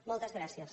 moltes gràcies